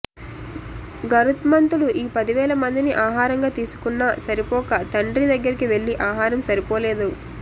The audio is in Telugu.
గరుత్మంతుడు ఈ పదివేల మందిని ఆహారంగా తీసుకున్నా సరిపోక తండ్రి దగ్గరికి వెళ్లి ఆహారం సరిపోలేదు